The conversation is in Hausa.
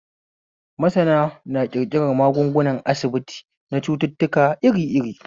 Masana na ƙirƙiran magungunan asibiti na cututtuka iri iri